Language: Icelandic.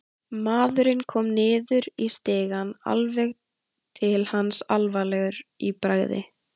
Maðurinn kom niður í stigann, alveg til hans, alvarlegur í bragði.